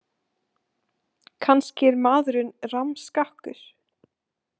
Kannski er maðurinn rammskakkur.